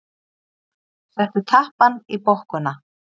Settu tappann í bokkuna.